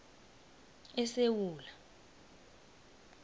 esewula